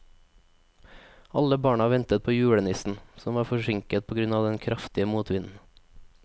Alle barna ventet på julenissen, som var forsinket på grunn av den kraftige motvinden.